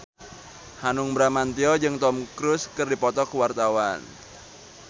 Hanung Bramantyo jeung Tom Cruise keur dipoto ku wartawan